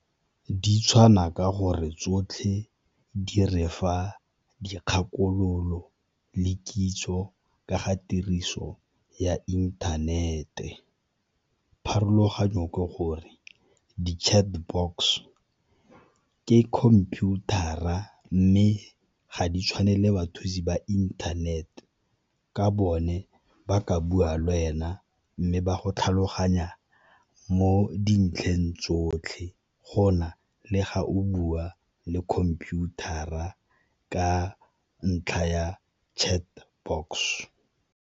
Di tshwana ka gore tsotlhe di re fa dikgakololo le kitso ka ga tiriso ya inthanete, pharologanyo ke gore di ke khomputara mme ga di tshwane le bathusi ba inthanete ka bone ba ka bua le wena mme ba go tlhaloganya mo dintlheng tsotlhe go na le ga o bua le computer-ra ka ntlha ya .